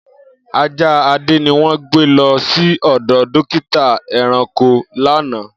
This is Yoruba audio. Aja Ade ni won gbe lo si odo dokita eranko lana.